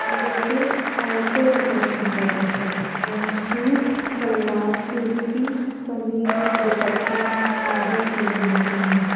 जो के औरतो के सेक्शन का दृश्य है। जहां सूट सलवार कुर्ती समीज दुपट्टा आदि चीजें मिलती है।